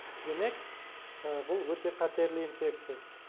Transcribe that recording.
демек бұл өте қатерлі инфекция